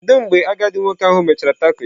Kedu mgbe agadi nwoke ahụ mechara taco ya?